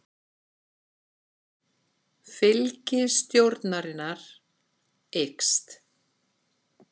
Fylgi stjórnarinnar eykst